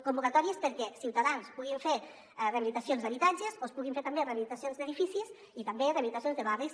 convocatòries perquè els ciutadans puguin fer rehabilitacions d’habitatges o es puguin fer també rehabilitacions d’edificis i també rehabilitacions de barris